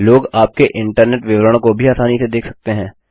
लोग आपके इंटरनेट विवरण को भी आसानी से देख सकते है